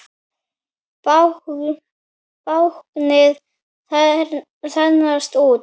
Báknið þenst út.